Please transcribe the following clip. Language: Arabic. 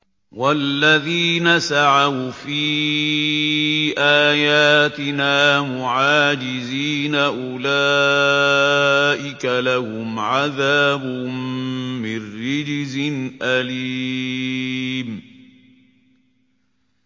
وَالَّذِينَ سَعَوْا فِي آيَاتِنَا مُعَاجِزِينَ أُولَٰئِكَ لَهُمْ عَذَابٌ مِّن رِّجْزٍ أَلِيمٌ